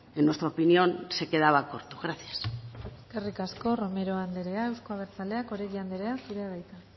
en nuestra opinión se quedaba corto gracias eskerrik asko romero andrea eusko abertzaleak oregi anderea zurea da hitza